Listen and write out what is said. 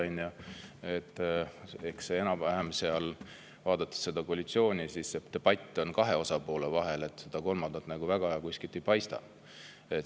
Vaadates koalitsiooni, debatt on enam-vähem kahe osapoole vahel, seda kolmandat kuskilt väga ei paista.